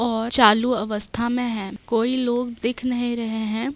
और चालू अवस्था में है कोई लोग दिख नहीं रहे है।